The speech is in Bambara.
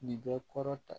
Nin bɛ kɔrɔ ta